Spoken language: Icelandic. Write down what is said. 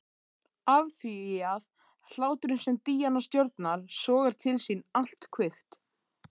Afþvíað hláturinn sem Díana stjórnar sogar til sín allt kvikt.